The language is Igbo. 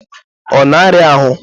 Ọ na-arịa ahụ?